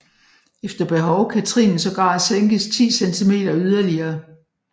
Efter behov kan trinet sågar sænkes 10 centimeter yderligere